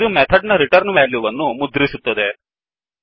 ಇದು ಮೆಥಡ್ ನ return value ವನ್ನು ಮುದ್ರಿಸುತ್ತದೆ